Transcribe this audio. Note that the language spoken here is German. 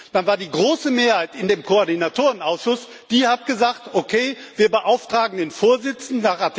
Dann war es die große Mehrheit in dem Koordinatorenausschuss, die gesagt hat Okay, wir beauftragen den Vorsitzenden.